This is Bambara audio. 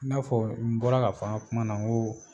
N'a fɔ n bɔra ka fana n ka kuma na ko